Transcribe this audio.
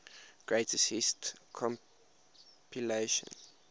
greatest hits compilation